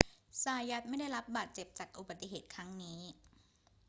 ซายัตไม่ได้รับบาดเจ็บจากอุบัติเหตุครั้งนี้